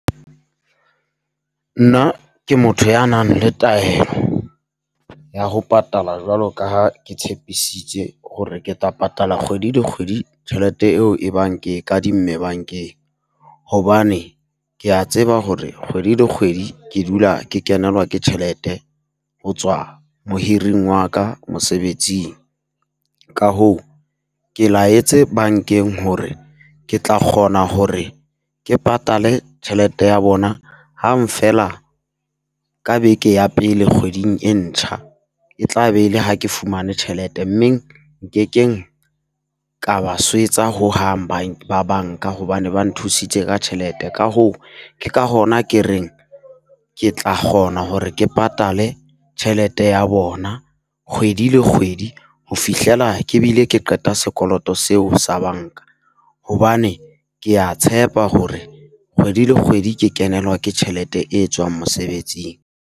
Nna ke motho ya nang le taelo ya ho patala jwalo ka ha ke tshepisitse hore ke tla patala kgwedi le kgwedi tjhelete eo e bang ke kadimme bankeng. Hobane kea tseba hore kgwedi le kgwedi ke dula ke kenelwa ke tjhelete ho tswa mohiring wa ka mosebetsing. Ka hoo, ke laetse bankeng hore ke tla kgona hore ke patale tjhelete ya bona hang feela ka beke ya pele kgweding e ntjha. E tla be e le ha ke fumane tjhelete mme nkekeng ka ba swetsa hohang bang ba banka, hobane ba nthusitse ka tjhelete. Ka hoo, ke ka hona ke reng ke tla kgona hore ke patale tjhelete ya bona kgwedi le kgwedi, ho fihlela ke bile ke qeta sekoloto seo sa banka. Hobane kea tshepa hore kgwedi le kgwedi ke kenelwa ke tjhelete e tswang mosebetsing.